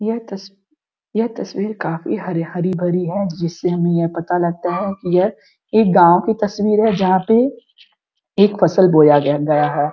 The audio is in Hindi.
यह तस यह तस्वीर काफी हरियाली भरी है जिससे हमें यह पता लगता है कि यह एक गाँव की तस्वीर है जहाँ पे एक फसल बोया गया हैं।